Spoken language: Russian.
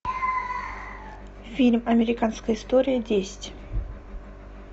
фильм американская история десять